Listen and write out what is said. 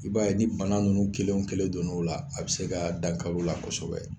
I b'a ye ni bana nunnu kelen o kelen don n'o la a be se ka dankariw la kosɛbɛ